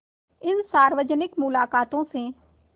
इन सार्वजनिक मुलाक़ातों से